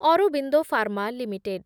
Aurobindo Pharma limited